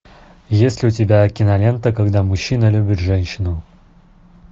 есть ли у тебя кинолента когда мужчина любит женщину